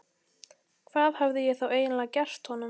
Hvað hafði ég þá eiginlega gert honum?